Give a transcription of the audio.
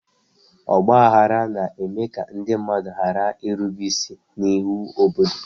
Ọgba aghara na-eme ka ndị mmadụ ghara irube isi n'iwu obodo.